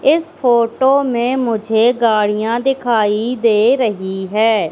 इस फोटो में मुझे गाड़ियां दिखाई दे रही है।